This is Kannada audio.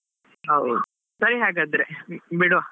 ಹೌದ್, ಸರಿ ಹಾಗಾದ್ರೆ ಬಿಡ್ವಾ?